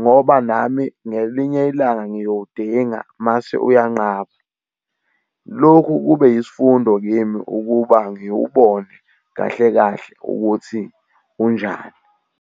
Ngoba nami ngelinye ilanga ngiyowudinga mase uyanqaba. Loku kube yisifundo kimi ukuba ngiwubone kahle kahle ukuthi unjani.